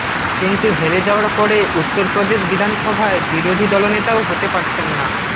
কিন্তু হেরে যাওয়ার পরে উত্তরপ্রদেশ বিধানসভায় বিরোধী দলনেতাও হতে পারছেন না